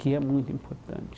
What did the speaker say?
Que é muito importante.